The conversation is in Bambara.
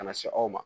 Ka na se aw ma